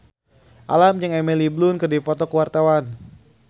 Alam jeung Emily Blunt keur dipoto ku wartawan